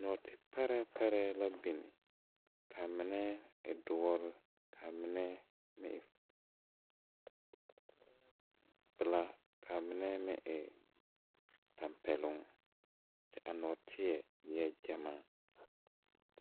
Nɔɔte parɛɛ parɛɛ la bin ka mine e doɔre ka mine meŋ e pilaa kaa mine meŋ e tampɛloŋ kyɛ a nɔɔteɛ eɛɛ gyamaa.